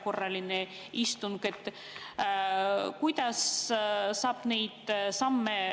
Mina küll usun, et nii Riigikogu esimees, kes on kutsunud kokku vanematekogu, kui ka sotsiaalkomisjoni esimees on avatud kompromissile ja kokkuleppe saavutamisele.